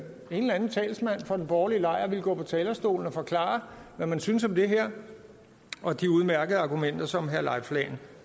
en eller anden talsmand for den borgerlige lejr ville gå på talerstolen og forklare hvad man synes om det her og de udmærkede argumenter som herre leif lahn